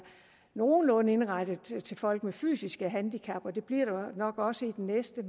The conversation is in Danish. nogenlunde indrettet til folk med fysiske handicap og det bliver der nok også i det næste